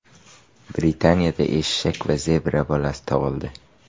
Britaniyada eshak va zebra bolasi tug‘ildi.